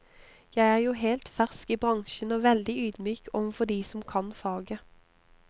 Jeg er jo helt fersk i bransjen og veldig ydmyk overfor de som kan faget.